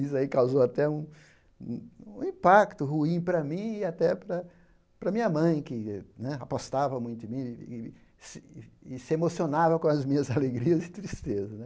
Isso aí causou até um um impacto ruim para mim e até para minha mãe, que né apostava muito em mim e se emocionava com as minhas alegrias e tristezas né.